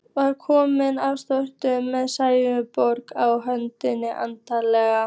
Var konan þá sofnuð með sælunnar bros á öllu andlitinu.